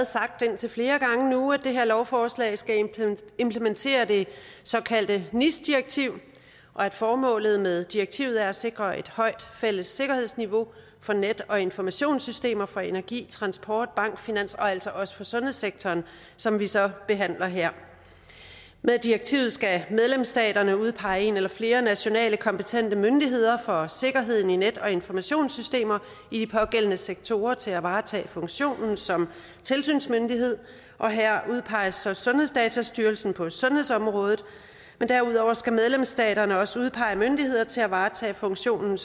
sagt indtil flere gange nu at det her lovforslag skal implementere det såkaldte nis direktiv og at formålet med direktivet er at sikre et højt fælles sikkerhedsniveau for net og informationssystemer for energi transport bank finans og altså også for sundhedssektoren som vi så behandler her med direktivet skal medlemsstaterne udpege en eller flere nationale kompetente myndigheder for sikkerheden i net og informationssystemer i de pågældende sektorer til at varetage funktionen som tilsynsmyndighed og her udpeges så sundhedsdatastyrelsen på sundhedsområdet men derudover skal medlemsstaterne også udpege myndigheder til at varetage funktionen